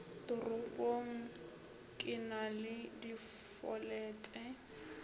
toropong ke na le difolete